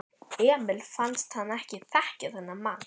Emil fannst hann ekki þekkja þennan mann.